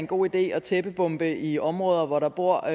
god idé at tæppebombe i områder hvor der bor